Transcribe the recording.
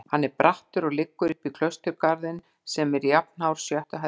Hann er brattur og liggur uppí klausturgarðinn sem er jafnhár sjöttu hæð byggingarinnar.